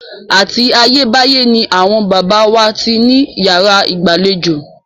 Àti ayé báyé ni àwọn baba wa ti ní yàrá ìgbàlejò.